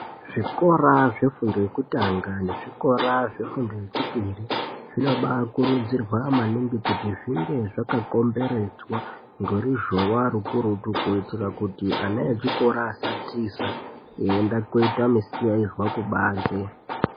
Zvikora zvefundo yekutanga nezvikora zvefundo yechipiri zvinoba kurudzirwa maningi kuti zvinge zvakakomberedzwa ngeruzhova rukurutu kuitira kuti ana echikora asatiza eienda koita misikaizwa kubanze.